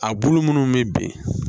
A bulu munnu bɛ bin